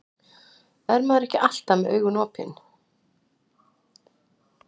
Er maður ekki alltaf með augun opin?